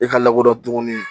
E ka lakodɔn tuguni